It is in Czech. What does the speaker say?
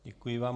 Děkuji vám.